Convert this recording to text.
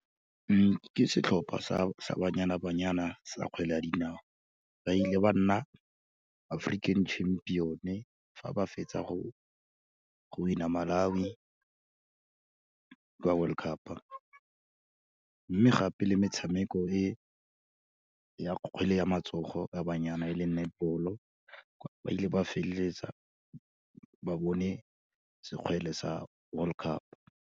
Ke setlhopha sa, sa Banyana Banyana sa kgwele ya dinao, ba ile ba nna African Champion-e, fa ba fetsa go winner Malawi, ka World Cup. Mme gape, le metshameko e ya kgwele ya matsogo ya banyana e leng netball-o, ba ile ba feleletsa ba bone sekgwele sa World Cup.